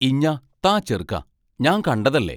ഇഞ്ഞാ താ ചെറ്ക്കാ, ഞാൻ കണ്ടതല്ലേ?